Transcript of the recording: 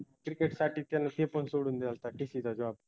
cricket साठी त्यानं ते पन सोडून डेलता TC चा job